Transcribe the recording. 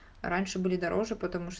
раньше были дороже